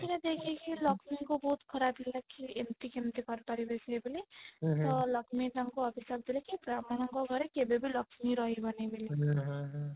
ସେଇଟା ଦେଖିକି ଲକ୍ଷ୍ମୀ ଙ୍କୁ ବହୁତ ଖରାପ ଲାଗିଲା କି ଏମିତି କେମିତି କରି ପାରିବେ ସିଏ ବୋଲି ତ ଲକ୍ଷ୍ମୀ ତାଙ୍କୁ ଅଭିଶାପ ଦେଲେ କି ବ୍ରାହ୍ମଣ ଙ୍କ ଘରେ କେବେ ବି ଲକ୍ଷ୍ମୀ ରହିବନି ବୋଲି